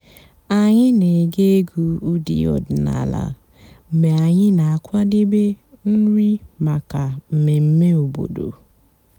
ányị́ nà-ège ègwú ụ́dị́ ọ̀dị́náàlà mg̀bé ànyị́ nà-àkwàdébé nrí màkà m̀mèmè òbòdo.